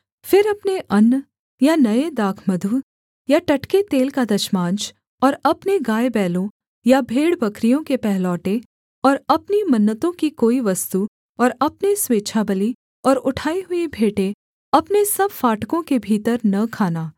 फिर अपने अन्न या नये दाखमधु या टटके तेल का दशमांश और अपने गायबैलों या भेड़बकरियों के पहलौठे और अपनी मन्नतों की कोई वस्तु और अपने स्वेच्छाबलि और उठाई हुई भेंटें अपने सब फाटकों के भीतर न खाना